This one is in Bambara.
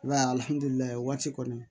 I b'a ye alihamudulilayi waati kɔni